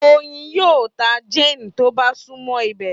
Oyin yíò tá Jane tó bá sunmọ ibẹ